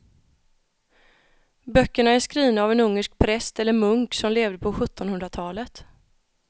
Böckerna är skrivna av en ungersk präst eller munk som levde på sjuttonhundratalet.